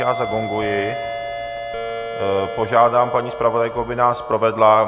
Já zagonguji, požádám paní zpravodajku, aby nás provedla.